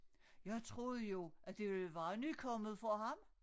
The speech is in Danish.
Jeg troede jo at det ville være nykommet for ham